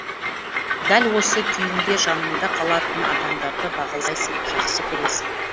дәл осы күйіңде жаныңда қалатын адамдарды бағалайсың жақсы көресің